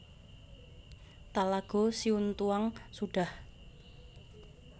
Talago Siuntuang Sudah